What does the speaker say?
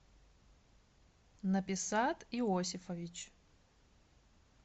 написат иосифович